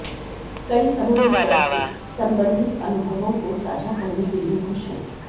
कई समुद्र तट से संबंधित अनुभवों को साझा करने के लिए खुश हैं